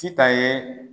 Sitan ye